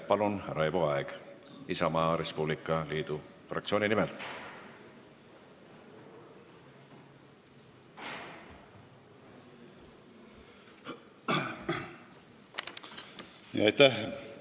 Palun, Raivo Aeg Isamaa Res Publica fraktsiooni nimel!